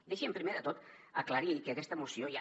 deixi’m primer de tot aclarir que aquesta moció ja